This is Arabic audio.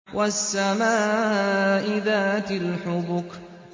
وَالسَّمَاءِ ذَاتِ الْحُبُكِ